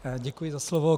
Děkuji za slovo.